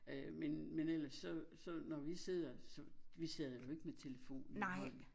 Øh men men ellers så så når vi sidder vi sidder nu ikke med telefonen i hånden